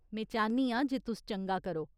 में चाह्न्नी आं जे तुस चंगा करो।